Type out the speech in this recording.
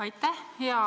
Aitäh!